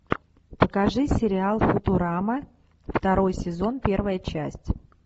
покажи сериал футурама второй сезон первая часть